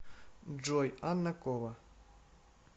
джой анна кова